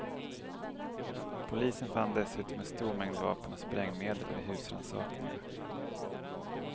Polisen fann dessutom en stor mängd vapen och sprängmedel vid husrannsakningar.